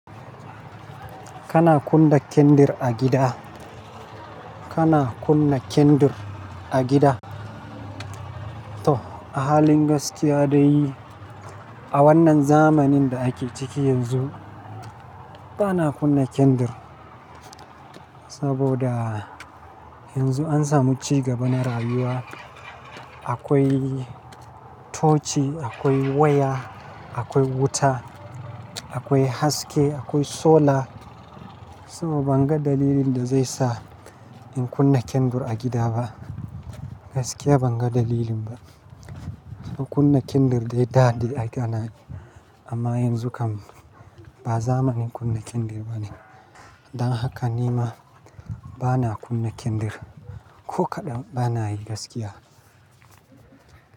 Kana kunna kendir a gida? Kana kunna kendir a gida? To, a halin gaskiya dai a wannan zamanin da ake ciki yanzu, ba na kunna kendir. Saboda yanzu an samu cigaba na rayuwa. Akwai tochi, akwai waya, akwai wuta, akwai haske, akwai solar. Saboda ban ga dalilin da zai sa in kunna kendir a gida ba. Gaskiya ban ga dalilin ba. Kunna kendir dai daɗi a idanun, amma yanzu kam ba zamanin kunna kendir ba ne. Don haka nima bana kunna kendir. Ko kaɗan bana yi gaskiya.